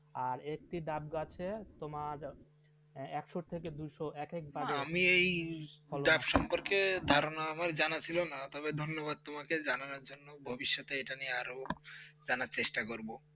আরেকটি ডাব গাছের তোমার একশো থেকে দোষো একেক দামের দাম, আমি এই ডাব সম্পর্কে ধারণা আমার জানা ছিলো না তবে ধন্যবাদ তোমাকে জানাবার জন্য ভবিষ্যতে এটা নিয়ে আরো জানার চেষ্টা করব